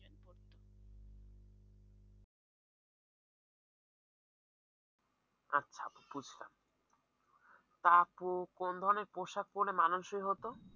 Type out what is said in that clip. আচ্ছা আপু বুঝলাম তারা তো কোন ধরনের পোশাক পড়লে মানানসই হত?